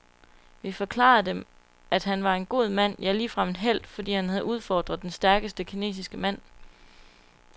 Vi forklarede dem, at han var en god mand, ja ligefrem en helt, fordi han havde udfordret den stærkeste kinesiske mand.